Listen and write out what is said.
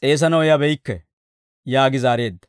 s'eesanaw yabeykke» yaagi zaareedda.